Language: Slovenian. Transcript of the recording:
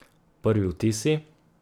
Prvi vtisi?